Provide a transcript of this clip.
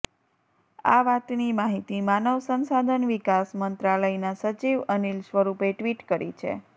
આ વાતની માહિતી માનવ સંસાધન વિકાસ મંત્રાલયના સચિવ અનિલ સ્વરૂપે ટ્વીટ કરી છે